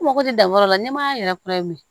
N mago tɛ dan yɔrɔ la nɛmaya yɛrɛ kɔrɔ ye